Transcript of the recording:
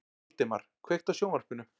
Valdemar, kveiktu á sjónvarpinu.